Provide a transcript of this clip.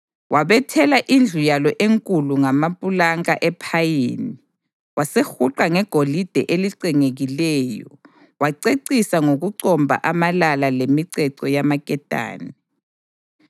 Wabethela indlu yalo enkulu ngamapulanka ephayini wasehuqa ngegolide elicengekileyo wacecisa ngokucomba amalala lemiceco yamaketane.